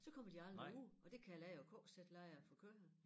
Så kommer de aldrig ud og det kalder jeg jo KZ-lejre for køer